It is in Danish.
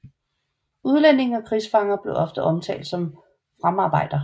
Udlændinge og krigsfanger blev ofte omtalt som Fremdarbeiter